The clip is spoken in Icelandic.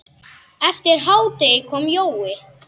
Eftir hádegi kom Jói.